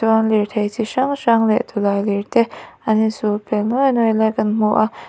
chuan lirthei chi hrang hrang leh tawlailir te an insul pêl luai luai lai kan hmu a.